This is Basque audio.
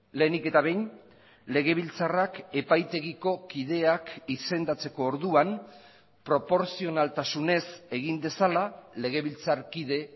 lehenik eta behin legebiltzarrak epaitegiko kideak izendatzeko orduan proportzionaltasunez egin dezala legebiltzarkide